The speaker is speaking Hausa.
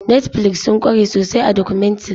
Netflix sun kware sosai a documentary.